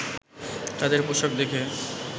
তাদের পোশাক দেখে